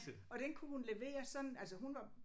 Og den kunne hun levere sådan altså hun var